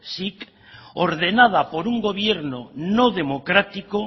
sic ordenada por un gobierno no democrático